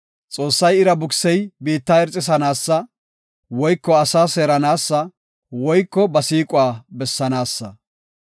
Xoossay ira bukisey biitta irxisanaasa, woyko asaa seeranaasa, woyko ba siiquwa bessanaasa.